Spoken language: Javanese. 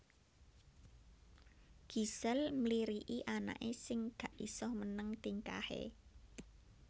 Gisel mliriki anake sing gak iso meneng tingkahe